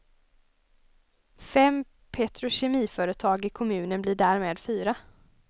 Fem petrokemiföretag i kommunen blir därmed fyra.